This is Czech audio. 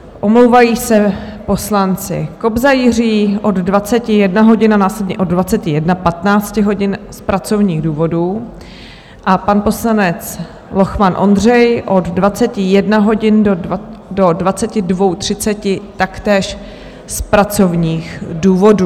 Omlouvají se poslanci: Kobza Jiří od 21 hodin a následně od 21.15 hodin z pracovních důvodů a pan poslanec Lochman Ondřej od 21 hodin do 22.30, taktéž z pracovních důvodů.